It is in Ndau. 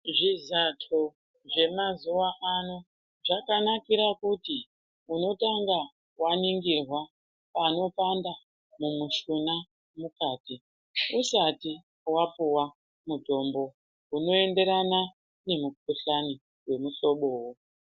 Zvizatho zvemazuwa ano zvakanakira kuti unotanga waningirwa panopanda mumushuna mukati usati wapuwa mitombo unoenderana nemukuhlani wemuhlobowo.